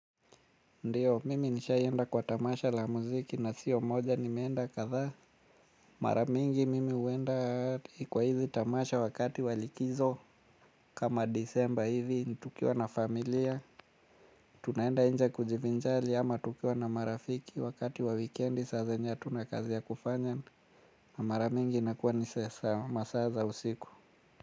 Ndiyo, mimi nishaienda kwa tamasha la muziki na siyo moja nimeenda kadhaa. Mara mingi mimi huenda kwa hizi tamasha wakati wa likizo kama disemba hivi ni tukiwa na familia. Tunaenda nje kujivinjari ama tukiwa na marafiki wakati wa weekendi saa zenye hatuna kazi ya kufanya. Na mara mingi nakuwa ni sasa masaa za usiku.